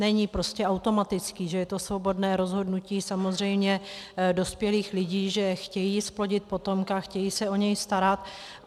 Není prostě automatický, že to je svobodné rozhodnutí samozřejmě dospělých lidí, že chtějí zplodit potomka, chtějí se o něj starat.